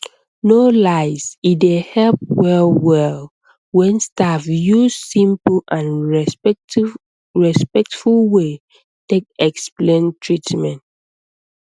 no lies e dey help wellwell when staff use simple and respectful way take explain treatment